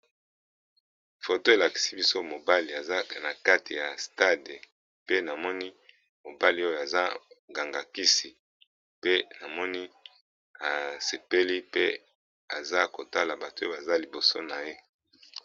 Foto elakisi biso mobali aza na kati ya stade pe namoni mobali oyo aza ganga kisi pe namoni asepeli pe aza kotala bato oyo baza liboso na ye.